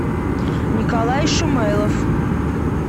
николай шумайлов